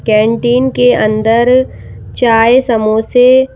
canteen अंदर चाय समोसे--